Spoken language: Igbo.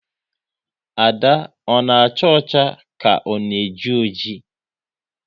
Ada ona acha ọcha ka ọ na eji oji?